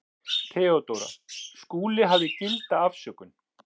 THEODÓRA: Skúli hafði gilda afsökun.